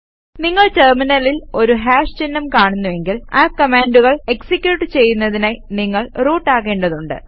നിങ്ങൾ ടെര്മിനലിൽ ഒരു ഹാഷ് ചിഹ്നം കാണുന്നുവെങ്കിൽ ആ കമാൻഡുകൾ എക്സിക്യൂട്ട് ചെയ്യുന്നതിനായി നിങ്ങൾ റൂട്ട് ആകേണ്ടതുണ്ട്